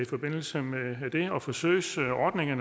forbindelse med det og forsøgsordningen